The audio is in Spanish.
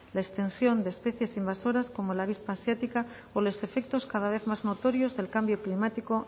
la extensión de especies invasoras como la avispa asiática o los efectos cada vez más notorios del cambio climático